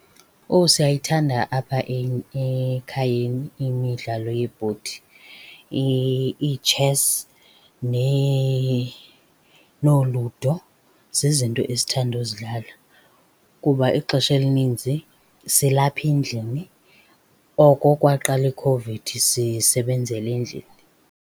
Oh, siyayithanda apha ekhayeni imidlalo yebhodi. Iitshesi nooLudo zizinto esithanda uzidlala kuba ixesha elininzi silapha endlini. Oko kwaqala ikhovidi sisebenzela endlini.